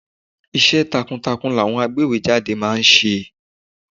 Iṣẹ́ takuntakun làwọn agbéwèé jáde ma ń ṣe.